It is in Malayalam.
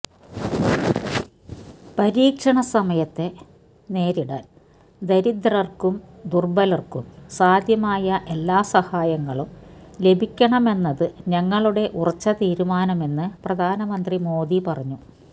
പരീക്ഷണ സമയത്തെ നേരിടാൻ ദരിദ്രർക്കും ദുർബലർക്കും സാധ്യമായ എല്ലാ സഹായങ്ങളും ലഭിക്കണമെന്നത് ഞങ്ങളുടെ ഉറച്ച തീരുമാനമെന്ന് പ്രധാനമന്ത്രി മോദി പറഞ്ഞു